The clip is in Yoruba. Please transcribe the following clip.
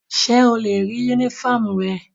Ṣe o le rii unifọmú rẹ?